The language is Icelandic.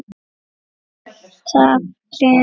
Alltaf gleði.